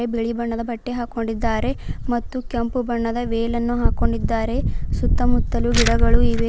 ಬಿಳಿ ಬಣ್ಣದ ಬಟ್ಟೆ ಹಾಕಿಕೊಂಡಿದ್ದಾರೆ ಮತ್ತು ಕೆಂಪು ಬಣ್ಣದ ವೇಲನ್ನು ಹಾಕಿಕೊಂಡಿದ್ದಾರೆ ಸುತ್ತಮುತ್ತಲು ಗಿಡಗಳು ಇವೆ.